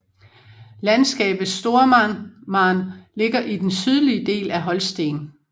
Landskabet Stormarn ligger i den sydlige del af Holsten